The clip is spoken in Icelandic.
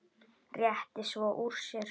Rétti svo úr sér.